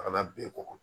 A kana bɛn kɔkɔ